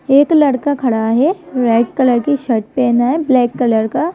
एक लड़का खड़ा है रेड कलर की शर्ट पहना है ब्लैक कलर का --